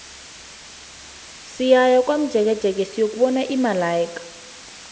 siyaya komjekejeke siyokubona imalaika